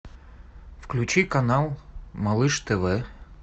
включи канал малыш тв